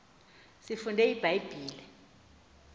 siyifunde ibha yibhile